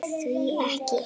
Því ekki?